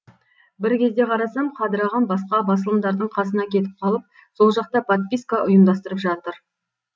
бір кезде қарасам қадыр ағам басқа басылымдардың қасына кетіп қалып сол жақта подписка ұйымдастырып жатыр